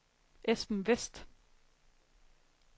Esben Westh